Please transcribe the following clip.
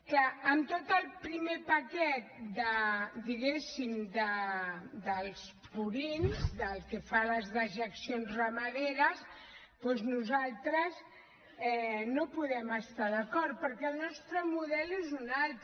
clar en tot el primer paquet diguéssim dels purins pel que fa a les dejeccions ramaderes doncs nosaltres no hi podem estar d’acord perquè el nostre model és un altre